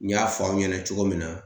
N y'a fɔ aw ɲɛna cogo min na